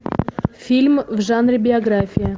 фильм в жанре биография